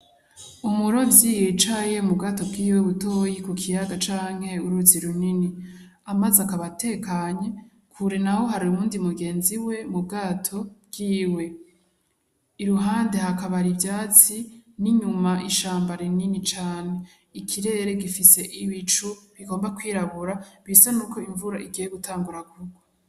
Umurovyi yicaye mu bwato bwiwe butoyi ku kiyaga can uruzi runini . Amazi akaba atekanye, kure naho hari uwundi mugenzi we mu bwato bwiwe iruhande hakaba har'ivyatsi n'inyuma ishamba rinini cane , ikirere gifise ibicu bigomba kwirabura bisa nkaho imvura igiye kurwa.